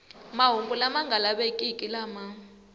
mahungu lama nga lavekeki lama